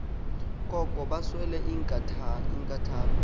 koko baswele inkathalo